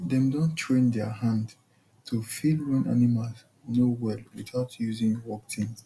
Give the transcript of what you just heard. dem don train der hand to feel when animal no well without using work tins